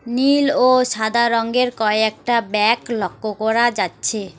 নীল ও সাদা রঙ্গের কয়েকটা ব্যাগ লক্ষ্য করা যাচ্ছে।